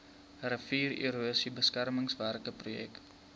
riviererosie beskermingswerke projek